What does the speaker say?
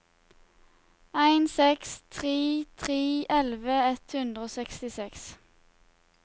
en seks tre tre elleve ett hundre og sekstiseks